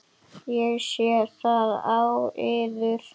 Ég sé það á yður.